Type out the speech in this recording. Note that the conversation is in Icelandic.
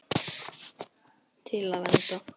Til að vernda.